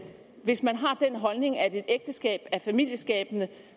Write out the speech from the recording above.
hvis man har den holdning at et ægteskab er familieskabende